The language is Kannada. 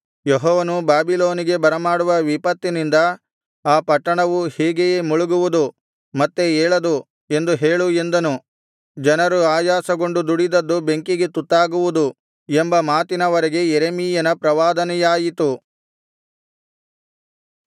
ಯೆಹೋವನು ಬಾಬಿಲೋನಿಗೆ ಬರಮಾಡುವ ವಿಪತ್ತಿನಿಂದ ಆ ಪಟ್ಟಣವೂ ಹೀಗೆಯೇ ಮುಳುಗುವುದು ಮತ್ತೆ ಏಳದು ಎಂದು ಹೇಳು ಎಂದನು ಜನರು ಆಯಾಸಗೊಂಡು ದುಡಿದದ್ದು ಬೆಂಕಿಗೆ ತುತ್ತಾಗುವುದು ಎಂಬ ಮಾತಿನವರೆಗೆ ಯೆರೆಮೀಯನ ಪ್ರವಾದನೆಯಾಯಿತು